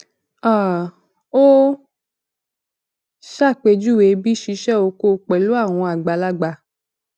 um ó ṣàpèjúwe bí ṣíṣe oko pẹlú àwọn àgbàlagbà